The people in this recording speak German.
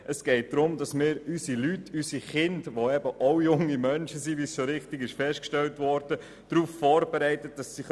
Es geht darum, unsere Kinder, die, wie richtig festgestellt wurde, junge Menschen sind, so vorzubereiten, dass sie dereinst im Leben bestehen können.